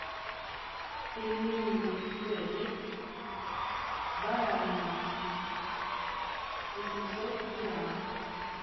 пельмени цезарь с бараниной восемьсот грамм